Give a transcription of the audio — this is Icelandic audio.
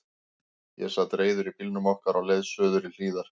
Ég sat reiður í bílnum okkar á leið suður í Hlíðar.